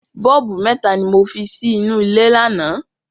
Bọ́ọ̀bù mẹ́ta ni mo fi sí inú ilé lánàá.